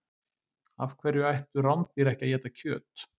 Af hverju ættu rándýr ekki að éta kjöt?